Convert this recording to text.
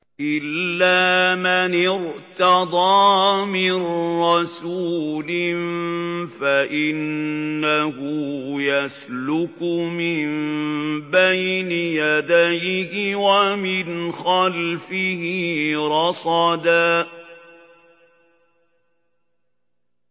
إِلَّا مَنِ ارْتَضَىٰ مِن رَّسُولٍ فَإِنَّهُ يَسْلُكُ مِن بَيْنِ يَدَيْهِ وَمِنْ خَلْفِهِ رَصَدًا